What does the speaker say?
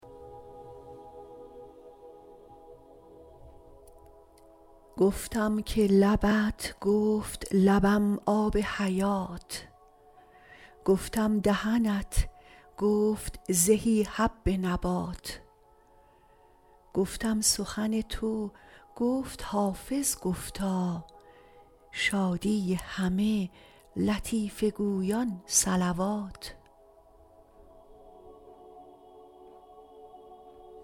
گفتم که لبت گفت لبم آب حیات گفتم دهنت گفت زهی حب نبات گفتم سخن تو گفت حافظ گفتا شادی همه لطیفه گویان صلوات